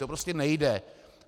To prostě nejde.